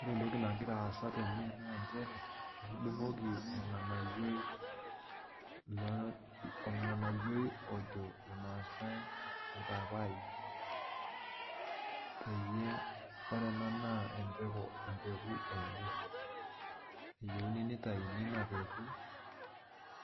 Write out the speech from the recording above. Ore entoki nagiraa aasa tene naa nchere etudungoki entoki najo irmaasai orpaipai, peyie ore ena naa empeku enye ,eyieuni nitayuni ina peku